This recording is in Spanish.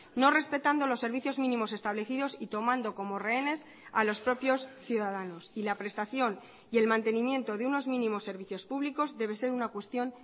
no respetando los servicios mínimos establecidos y tomando como rehenes a los propios ciudadanos y la prestación y el mantenimiento de unos mínimos servicios públicos debe ser una cuestión